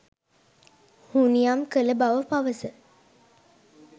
හුනියම් කළ බව පවස